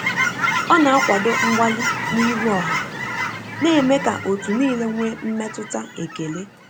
Ọ na akwado mgbali n'ihu oha, na eme ka otu nile nwee mmetụta ekele.